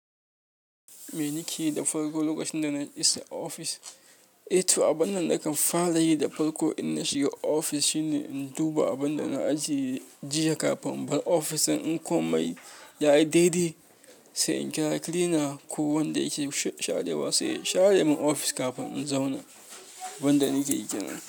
Me nike yi da farko lokacin da na isa ofis? Eto, abin da nakan fara yi da farko in na shiga ofis shine in duba abin da na ajiye jiya kafin, bar ofis ɗin in komai ya yi daidai. Sai in kira cleaner ko wanda yake sharewa sai ya share min ofis kafin in zauna. Wanda nake kenan.